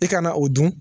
I kana o dun